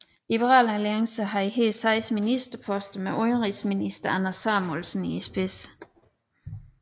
Liberal Alliance havde her seks ministerposter med udenrigsminister Anders Samuelsen i spidsen